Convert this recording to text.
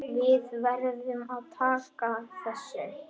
Við verðum að taka þessu.